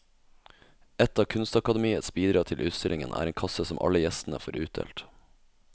Et av kunstakademiets bidrag til utstillingen er en kasse som alle gjestene får utdelt.